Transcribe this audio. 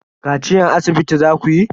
Kaciyan asibiti zakuyi?